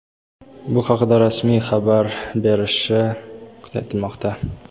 bu haqida rasmiy xabar berilishi aytilmoqda.